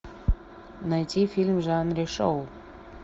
найти фильм в жанре шоу